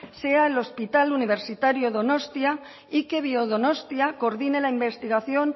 sea el hospital universitario donostia y que biodonostia coordine la investigación